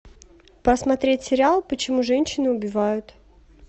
посмотреть сериал почему женщины убивают